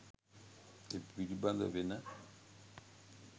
ඒ පිළිබඳ වෙන